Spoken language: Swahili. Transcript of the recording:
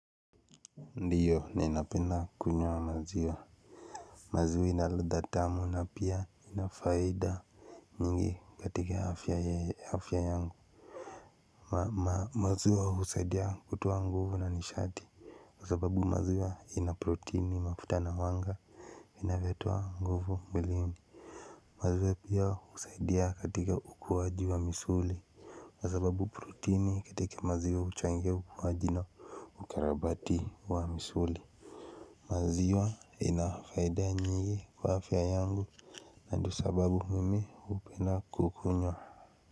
Ndiyo ninapenda kunywa maziwa maziwa ina ladha tamu na pia ina faida nyingi katika afya ya afya yangu maziwa husaidia kutoa nguvu na nishati kwa sababu maziwa ina proteini mafuta na mwanga inavyotoa nguvu mwilini maziwa pia husaidia katika ukuwaji wa misuli kwa sababu protini katika maziwa huchangia ukuwaji na mkarabati wa misuli. Maziwa ina faida nyingi kwa afya yangu na ndo sababu mimi hupenda kukunywa.